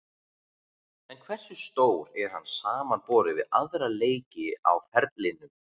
En hversu stór er hann samanborið við aðra leiki á ferlinum?